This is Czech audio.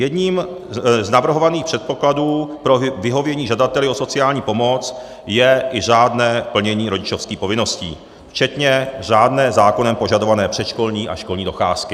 Jedním z navrhovaných předpokladů pro vyhovění žadateli o sociální pomoc je i řádné plnění rodičovských povinností včetně řádné zákonem požadované předškolní a školní docházky.